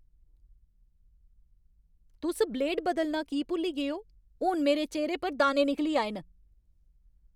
तुस ब्लेड बदलना की भुल्ली गे ओ? हून मेरे चेह्‌रे पर दाने निकली आए न!